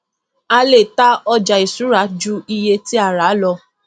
a le ta ọjà ìṣúra ju iye tí a rà lọ